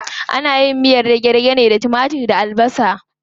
Ana yin miyar dage-dage ne da timatir da tattasai da albasa.